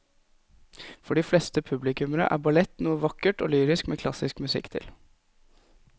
For de fleste publikummere er ballett noe vakkert og lyrisk med klassisk musikk til.